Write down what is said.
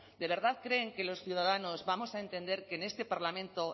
de verdad creen que los ciudadanos vamos a entender que en este parlamento